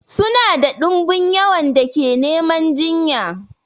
Suna da dumbin yawan da ke neman jinya.